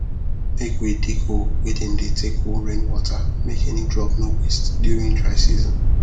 make we dig hole wey dem dey take hold rainwater make any drop no waste during dry season